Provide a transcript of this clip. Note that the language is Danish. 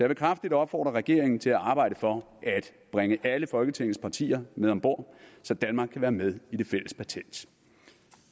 vil kraftigt opfordre regeringen til at arbejde for at bringe alle folketingets partier med om bord så danmark kan være med i det fælles patent